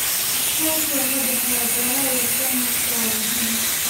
Iskaashiga ka dhexeeya beeraha iyo sayniska waa muhiim.